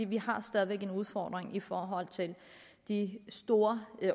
vi har stadig væk en udfordring i forhold til de store